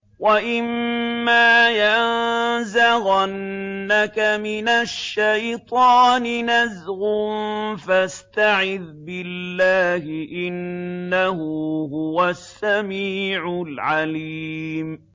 وَإِمَّا يَنزَغَنَّكَ مِنَ الشَّيْطَانِ نَزْغٌ فَاسْتَعِذْ بِاللَّهِ ۖ إِنَّهُ هُوَ السَّمِيعُ الْعَلِيمُ